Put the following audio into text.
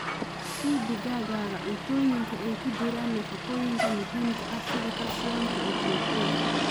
Sii digaagga cuntooyinka ay ku jiraan nafaqooyinka muhiimka ah sida calcium iyo borotiinka.